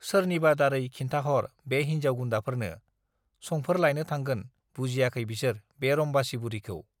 सोरनिबा दारै खिन्थाहर बे हिन्जाव गुन्दाफोरनो, संफोर लायनो थांगोन बुजियाखै बिसोर बे रम्बासी बुरिखौ।